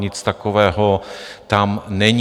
Nic takového tam není.